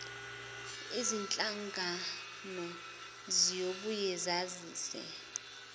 zinhlangano ziyobuye zazise